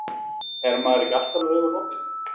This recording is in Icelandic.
Er maður ekki alltaf með augun opin?